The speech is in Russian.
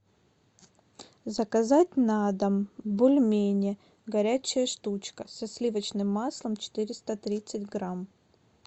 заказать на дом бульмени горячая штучка со сливочным маслом четыреста тридцать грамм